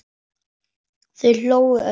Þau hlógu öll.